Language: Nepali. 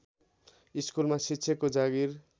स्कुलमा शिक्षकको जागिर